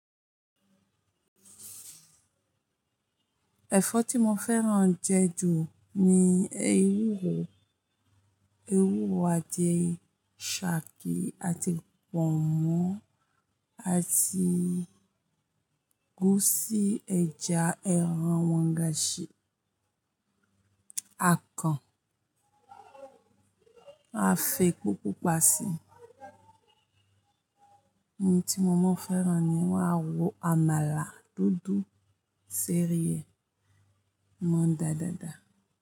Ẹ̀fọ́ tí mo fẹ́ràn jẹ ju ni ewúro, ewúro àti isaki àti pọ̀nmọ́ àti gúúsì ẹja, ẹran wọ̀ngaṣí, akàn, a fẹ́ epo pupa si ẹ̀ní tí mo máa fẹ́ràn ni wọ́n á wọ àmàlà dúdú, sèríè mọ dádáda.